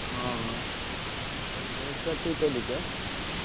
ହଁ ହଁ ତମେ ବହୁତ ଛୁଆ ଠିକ୍ କରିଦେଇଛ?